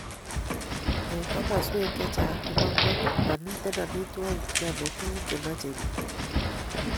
Eng komaswek chechang chebo ngony, mamiten amitwogik cheyamei tuguk chemache biik